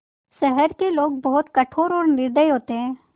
शहर के लोग बहुत कठोर और निर्दयी होते हैं